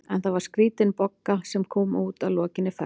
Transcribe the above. En það var skrítin Bogga sem kom út að lokinni ferð.